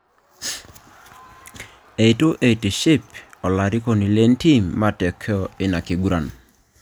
Itu itiship olarikoni le ntiim matokeo ina kiguran